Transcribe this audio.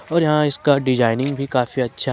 और यहां इसका डिजाइनिंग भी काफी अच्छा--